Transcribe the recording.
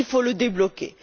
il faut le débloquer.